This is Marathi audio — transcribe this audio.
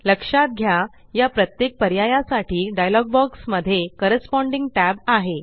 लक्षात घ्या या प्रत्येक पर्यायासाठी डायलॉग बॉक्स मध्ये कॉरेस्पाँडिंग tab आहे